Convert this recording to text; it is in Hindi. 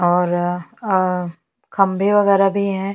और अ और खम्बे वगेरा भी है।